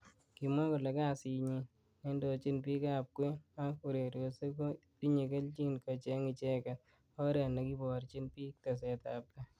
Kimwa kole kasit nyi neindojin bik ab kwen ak urerosiek ko tinye keljin kocheng icheket oret nekeborji bik teset ab tai.